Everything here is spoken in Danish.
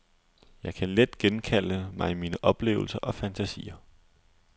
Jeg kan let genkalde mig mine oplevelser og fantasier.